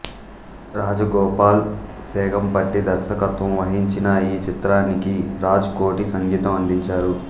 రాజగోపాల్ సేగంపట్టి దర్శకత్వం వహించిన ఈ చిత్రానికి రాజ్ కోటి సంగీతం అందించారు